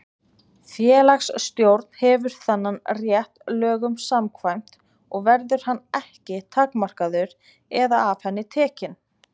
Félagsstjórn hefur þennan rétt lögum samkvæmt og verður hann ekki takmarkaður eða af henni tekinn.